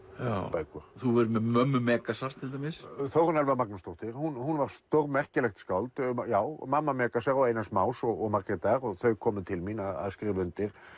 bækur þú hefur verið með mömmu Megasar til dæmis Þórunn Elfa Magnúsdóttir var stórmerkilegt skáld já mamma Megasar og Einars Más og Margrétar þau komu til mín að skrifa undir